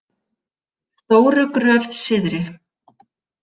Stóru Gröf Syðri